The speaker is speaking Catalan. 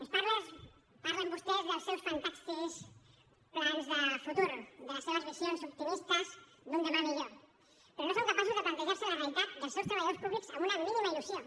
ens parlen vostès dels seus fantàstics plans de futur de les seves visions optimistes d’un demà millor però no són capaços de plantejar se la realitat dels seus treballadors públics amb una mínima il·lusió